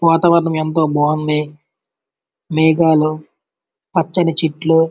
వాతావరణం ఎంతో బాగుంది మేఘాలు పచ్చని చెట్లు.